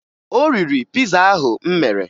O riri piza ahụ m mere.